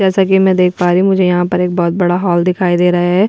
जैसा कि मैं देख पार रही हुँ मुझे यहाँ बहुत बड़ा हॉल दिखाई दे रहा है।